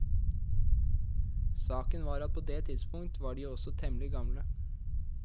Saken var at på det tidspunkt var de jo også temmelig gamle.